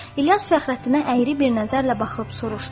İlyas Fəxrəddinə əyri bir nəzərlə baxıb soruşdu: